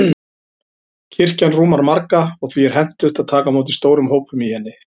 Kirkjan rúmar marga, og því er hentugt að taka á móti stórum hópum í henni.